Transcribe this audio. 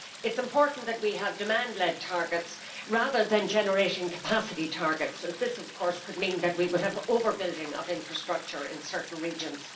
It is important that we have demand led targets, rather than generating capacity targets, as this could mean that we would have over building of infrastructure in certain regions.